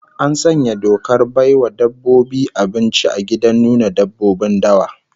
An sanya dokar bai wa dabbobi abinci a gidan nuna dabbobin dawa